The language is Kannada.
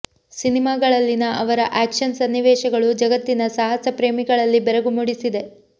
ಸಿನಿಮಾಗಳಲ್ಲಿನ ಅವರ ಆಕ್ಷನ್ ಸನ್ನಿವೇಶಗಳು ಜಗತ್ತಿನ ಸಾಹಸ ಪ್ರೇಮಿಗಳಲ್ಲಿ ಬೆರಗು ಮೂಡಿಸಿದೆ